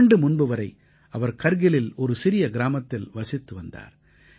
ஓராண்டு முன்பு வரை அவர் கர்கிலில் ஒரு சிறிய கிராமத்தில் வசித்து வந்தார்